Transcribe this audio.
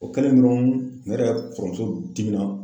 O kɛlen dɔrɔn ne yɛrɛ kɔrɔmuso dimina